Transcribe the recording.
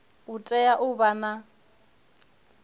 u tea u vha na